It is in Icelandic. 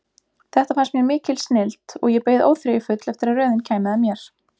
Þetta fannst mér mikil snilld og ég beið óþreyjufull eftir að röðin kæmi að mér.